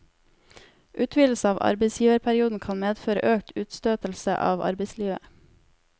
Utvidelse av arbeidsgiverperioden kan medføre økt utstøtelse av arbeidslivet.